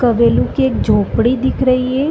क बेली की एक झोपड़ी दिख रही है।